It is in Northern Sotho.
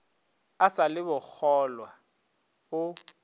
a sa le bokgolwa o